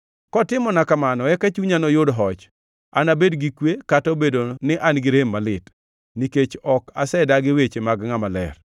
Kotimona kamano eka chunya noyud hoch, anabed gi kwe, kata obedo ni an gi rem malit; nikech ok asedagi weche mag Ngʼama Ler.